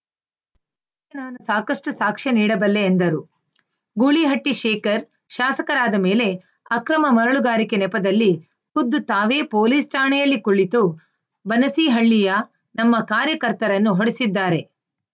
ಇದಕ್ಕೆ ನಾನು ಸಾಕಷ್ಟುಸಾಕ್ಷ್ಯ ನೀಡಬಲ್ಲೆ ಎಂದರು ಗೂಳಿಹಟ್ಟಿಶೇಖರ್‌ ಶಾಸಕರಾದ ಮೇಲೆ ಅಕ್ರಮ ಮರಳುಗಾರಿಕೆ ನೆಪದಲ್ಲಿ ಖುದ್ದು ತಾವೇ ಪೋಲೀಸ್‌ ಠಾಣೆಯಲ್ಲಿ ಕುಳಿತು ಬನಸೀಹಳ್ಳಿಯ ನಮ್ಮ ಕಾರ್ಯಕರ್ತರನ್ನು ಹೊಡೆಸಿದ್ದಾರೆ